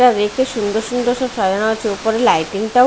একটা রেক -এ সুন্দর সুন্দর সব সাজানো আছে উপরে লাইটিং টাও--